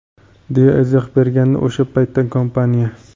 deya izoh bergandi o‘sha paytda kompaniya.